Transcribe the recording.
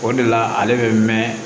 O de la ale bɛ mɛn